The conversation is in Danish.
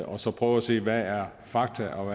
og så prøve at se hvad der er fakta og